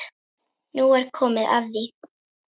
Nú er komið að því.